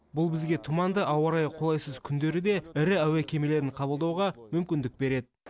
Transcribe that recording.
бұл бізге тұманды ауа райы қолайсыз күндері де ірі әуе кемелерін қабылдауға мүмкіндік береді